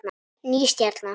Ný stjarna